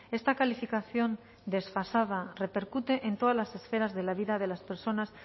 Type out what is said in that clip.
esta calificación desfasada repercute en todas las esferas de la vida de las personas